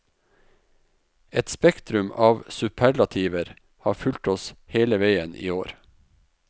Et spektrum av superlativer har fulgt oss hele veien i år.